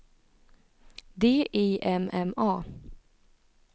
D I M M A